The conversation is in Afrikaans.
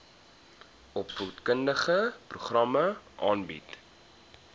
opvoedkundige programme aanbied